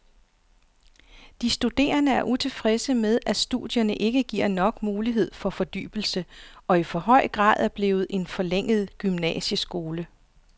De studerende er utilfredse med, at studierne ikke giver nok mulighed for fordybelse og i for høj grad er blevet en forlænget gymnasieskole.